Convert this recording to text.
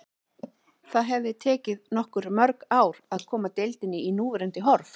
Það hefði tekið okkur mörg ár að koma deildinni í núverandi horf.